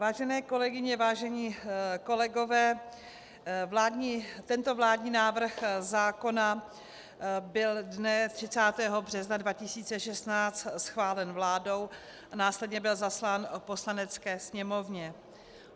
Vážené kolegyně, vážení kolegové, tento vládní návrh zákona byl dne 30. března 2016 schválen vládou a následně byl zaslán Poslanecké sněmovně.